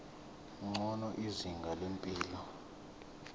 ngcono izinga lempilo